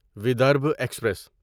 Vidarbha express